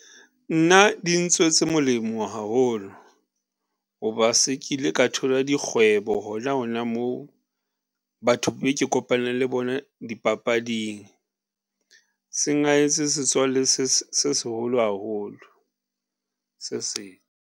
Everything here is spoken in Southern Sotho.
Nna dintswetse molemo haholo, ho ba se ke ile ka thola dikgwebo hona hona moo batho be ke kopaneng le bona dipapading. Seng ha hetse setswalle se seholo haholo, .